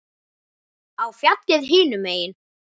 Á fjallið hinum megin.